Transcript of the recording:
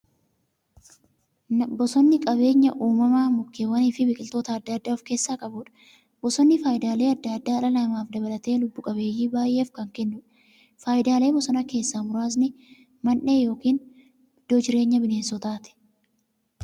Bosonni qabeenya uumamaa mukkeewwaniifi biqiltoota adda addaa of keessaa qabudha. Bosonni faayidaalee adda addaa dhala namaa dabalatee lubbuu qabeeyyii baay'eef kan kennuudha. Faayidaalee bosonaa keessaa muraasni; Mandhee yookin iddoo jireenya bineensotaati.